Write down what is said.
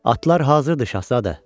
Atlar hazırdı, şahzadə.